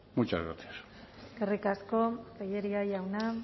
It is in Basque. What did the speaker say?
muchas gracias eskerrik asko tellería jauna